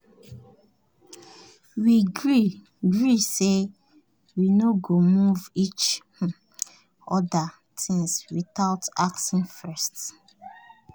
we gree gree say we no go move each um oda things without asking first.